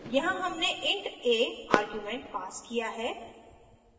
यहाँ हमने int a argument passed किया है